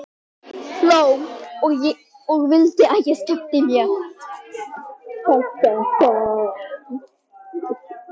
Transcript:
Hló og vildi að ég skemmti mér.